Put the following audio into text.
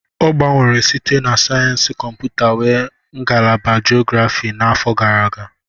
O gbanwere site na sayensị kọmputa wee ngalaba geography n'afọ gara aga.